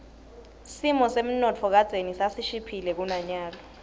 simo semnotfo kadzeni sasishiphile kunanyalo